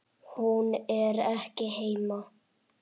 Hún er ekki heima.